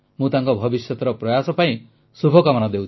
ମୁଁ ତାଙ୍କ ଭବିଷ୍ୟତର ପ୍ରୟାସ ପାଇଁ ଶୁଭକାମନା ଦେଉଛି